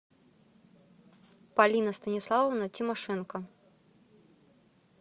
полина станиславовна тимошенко